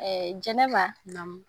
Jɛnɛba, naamu.